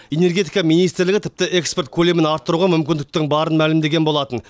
энергетика министрлігі тіпті экспорт көлемін арттыруға мүмкіндіктің барын мәлімдеген болатын